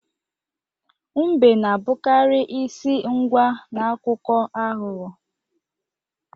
Mbe na-abụkarị isi agwa n'akụkọ aghụghọ.